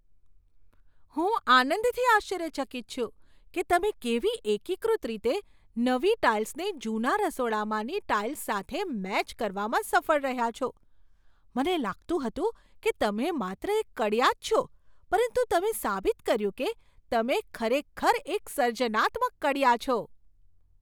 હું આનંદથી આશ્ચર્યચકિત છું કે તમે કેવી એકીકૃત રીતે નવી ટાઇલ્સને જૂના રસોડામાંની ટાઇલ્સ સાથે મેચ કરવામાં સફળ રહ્યા છો. મને લાગતું હતું કે તમે માત્ર એક કડિયા જ છો પરંતુ તમે સાબિત કર્યું કે તમે ખરેખર એક સર્જનાત્મક કડિયા છો.